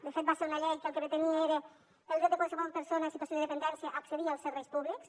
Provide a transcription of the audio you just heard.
de fet va ser una llei que el que pretenia era el dret de qualsevol persona en situació de dependència a accedir als serveis públics